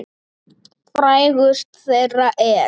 Frægust þeirra er